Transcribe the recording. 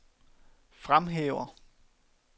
fremhæver